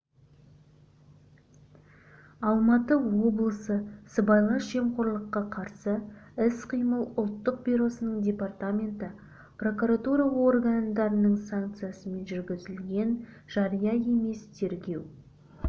алматы облысы сыбайлас жемқорлыққа қарсы іс-қимыл ұлттық бюросының департаменті прокуратура органдарының санкциясымен жүргізілген жария емес тергеу